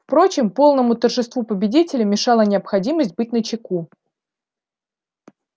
впрочем полному торжеству победителя мешала необходимость быть начеку